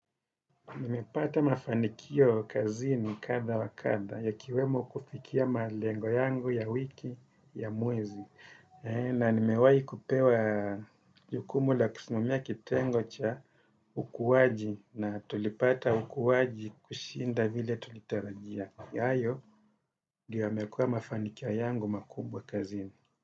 Nimepata mafanikio kazini kadha wakadha ikiwemo kufikia malengo yangu ya wiki ya mwezi. Na nimewai kupewa jukumu la kusimamia kitengo cha ukuwaji na tulipata ukuwaji kushinda vile tulitarajia. Hayo Ndiyo Yamekua mafanikio yangu makubwa kazini.